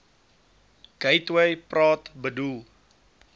gateway praat bedoel